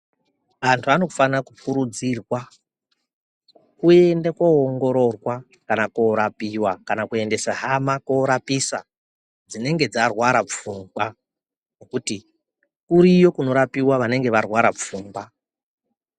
Antu anofana kukurudzirwa kuenda koongororwa kana korapuwa kana kuendesa hama korapuwa dzinenge dzarwara pfungwa ngokuti kuriyo kunorapiwa kunenge kwarwara pfungwa.